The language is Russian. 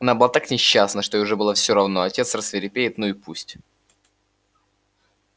она была так несчастна что ей уже было все равно отец рассвирепеет ну и пусть